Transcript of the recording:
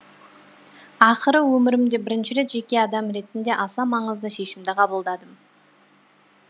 ақыры өмірімде бірінші рет жеке адам ретінде аса маңызды шешімді қабылдадым